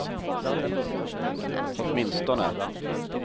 åtminstone